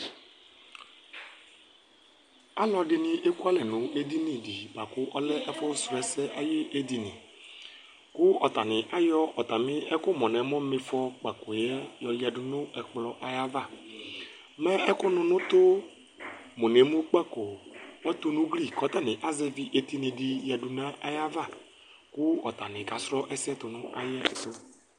Alʋɛdɩnɩ ekualɛ nʋ edini dɩ bʋa kʋ ɔlɛ ɛfʋsrɔ ɛsɛ ayʋ edini kʋ atanɩ ayɔ atamɩ ɛkʋmʋ nʋ emu ma ɩfɔkpakp yɛ yɔyǝdu nʋ ɛkplɔ ayava Mɛ ɛkʋnʋ nʋ ʋtʋmʋ nʋ emukpako ɔtʋ nʋ ugli kʋ ɔtanɩ azɛvɩ etini dɩ yǝdu nʋ ayava kʋ ɔtanɩ kasrɔ ɛsɛ tʋ nʋ ayɛtʋ